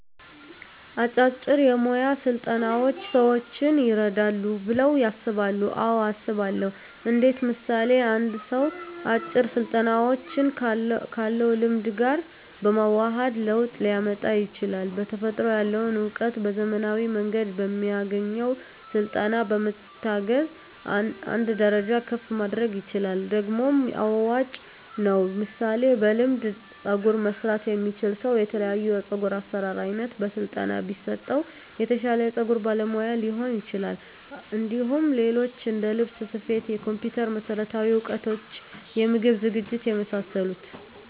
አጫጭር የሞያ ስልጠናዎች ሰዎችን ይረዳሉ ብለው ያስባሉ አዎ አስባለሁ እንዴት ምሳሌ አንድ ሰው አጭር ስልጠናዎችን ካለው ልምድ ጋር በማዋሀድ ለውጥ ሊያመጣ ይችላል በተፈጥሮ ያለውን እውቀት በዘመናዊ መንገድ በሚያገኘው ስልጠና በመታገዝ አንድ ደረጃ ከፍ ማድረግ ይችላል ደግሞም አዋጭ ነው ምሳሌ በልምድ ፀጉር መስራት የሚችል ሰው የተለያዮ የፀጉር አሰራር አይነት በስለጠና ቢሰጠው የተሻለ የፀጉር ባለሙያ ሊሆን ይችላል እንዲሁም ሌሎች እንደልብስ ስፌት የኮምፒተር መሠረታዊ እውቀቶች የምግብ ዝግጅት የመሳሰሉት